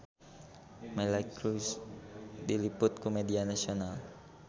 Miley Cyrus diliput ku media nasional